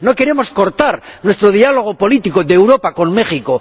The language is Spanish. No queremos cortar nuestro diálogo político de Europa con México.